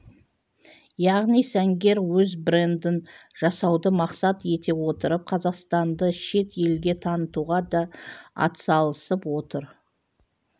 яғни сәнгер өз брендін жасауды мақсат ете отырып қазақстанды шет елге танытуға да атсалысып отыр